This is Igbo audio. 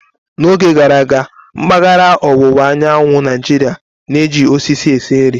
N'oge gara aga, mpaghara ọwụwa anyanwụ Naijiria na-eji osisi esi nri.